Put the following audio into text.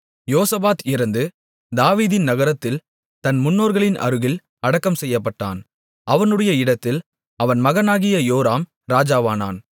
யோசபாத் இறந்து தாவீதின் நகரத்தில் தன் முன்னோர்களின் அருகில் அடக்கம் செய்யப்பட்டான் அவனுடைய இடத்தில் அவன் மகனாகிய யோராம் ராஜாவானான்